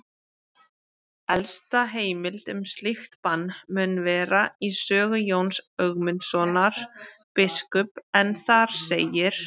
Elsta heimild um slíkt bann mun vera í sögu Jóns Ögmundssonar biskups en þar segir: